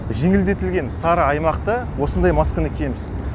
жеңілдетілген сары аймақта осындай масканы киеміз